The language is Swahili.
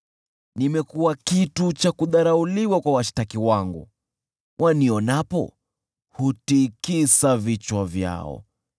Nimekuwa kitu cha kudharauliwa kwa washtaki wangu, wanionapo, hutikisa vichwa vyao.